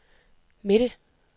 midte